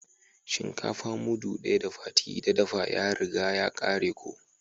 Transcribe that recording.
Shinkafa mudu daya da Fati da dafa ya riga ya kare ko.